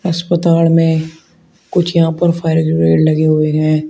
अस्पताल में कुछ यहां पर फायर लगे हुए हैं।